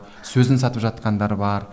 сөзін сатып жатқандар бар